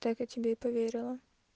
так я тебе и поверила